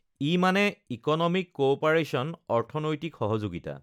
ই মানে economic cooperation অৰ্থনৈতিক সহযোগিতা